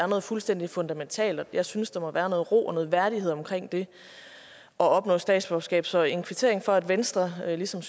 noget fuldstændig fundamentalt jeg synes der må være noget ro og værdighed omkring det at opnå statsborgerskab så en kvittering for at venstre ligesom